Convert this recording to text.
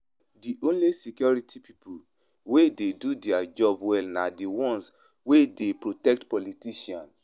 The only security people wey dey do dia job well na the ones wey dey protect politicians